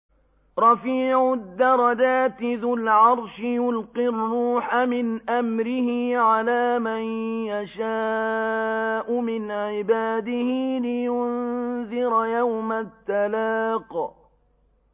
رَفِيعُ الدَّرَجَاتِ ذُو الْعَرْشِ يُلْقِي الرُّوحَ مِنْ أَمْرِهِ عَلَىٰ مَن يَشَاءُ مِنْ عِبَادِهِ لِيُنذِرَ يَوْمَ التَّلَاقِ